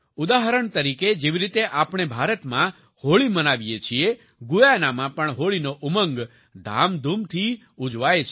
ઉદાહરણ તરીકે જેવી રીતે આપણે ભારતમાં હોળી મનાવીએ છીએ ગુયાના માં પણ હોળીનો ઉમંગ ધામધૂમથી ઉજવાય છે